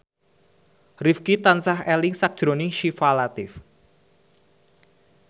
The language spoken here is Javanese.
Rifqi tansah eling sakjroning Syifa Latief